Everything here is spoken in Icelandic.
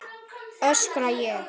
öskra ég.